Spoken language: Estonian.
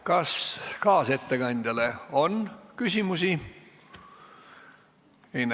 Kas kaasettekandjale on küsimusi?